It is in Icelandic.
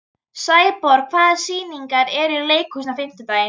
Sæborg, hvaða sýningar eru í leikhúsinu á fimmtudaginn?